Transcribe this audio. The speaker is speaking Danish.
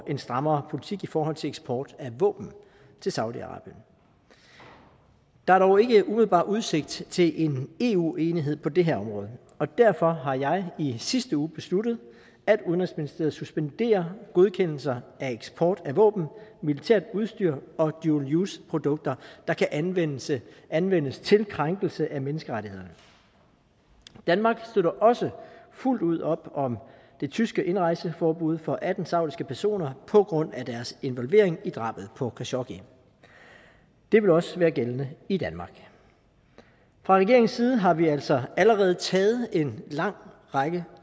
en strammere politik i forhold til eksport af våben til saudi arabien der er dog ikke umiddelbart udsigt til en eu enighed på det her område og derfor har jeg i sidste uge besluttet at udenrigsministeriet suspenderer godkendelser af eksport af våben militært udstyr og dual use produkter der kan anvendes til anvendes til krænkelse af menneskerettighederne danmark støtter også fuldt ud op om det tyske indrejseforbud for atten saudiske personer på grund af deres involvering i drabet på khashoggi det vil også være gældende i danmark fra regeringens side har vi altså allerede taget en lang række